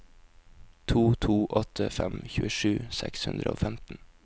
to to åtte fem tjuesju seks hundre og femten